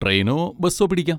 ട്രെയിനോ ബസ്സോ പിടിക്കാം.